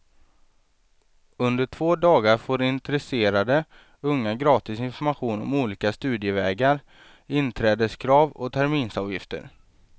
Under två dagar får intresserade unga gratis information om olika studievägar, inträdeskrav och terminsavgifter.